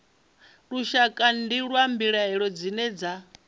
lushakade lwa mbilaelo dzine dza